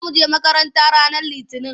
Za mu je makaranta ranar Litinin.